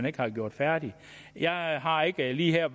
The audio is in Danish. ikke har gjort færdig jeg har ikke lige her